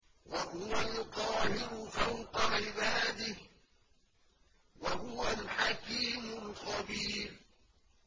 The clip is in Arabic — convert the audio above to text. وَهُوَ الْقَاهِرُ فَوْقَ عِبَادِهِ ۚ وَهُوَ الْحَكِيمُ الْخَبِيرُ